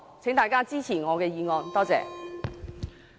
請大家支持我的議案，多謝。